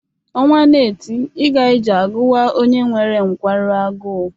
Ọnwa na-eti ịga ije agụwa onye nwere nkwarụ agụụ.